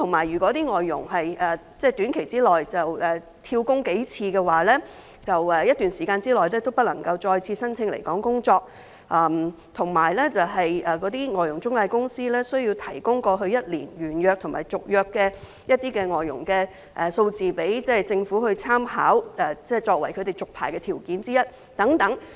如果外傭在短期內"跳工"數次，他們在一段時間內便不能再次申請來港工作，而外傭中介公司亦需要提供過去一年完約及續約外傭的數字，供政府參考，作為這些中介公司續牌的條件之一。